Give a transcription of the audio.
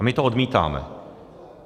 A my to odmítáme.